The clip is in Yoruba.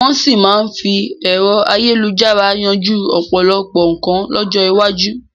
Wọn sì máa fi ẹ̀rọ ayélujára yanjú ọ̀pọ̀lọpọ̀ nkan lọ́jọ́ iwájú